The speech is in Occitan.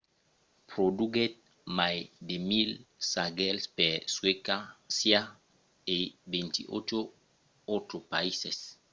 produguèt mai de 1 000 sagèls per suècia e 28 autres païses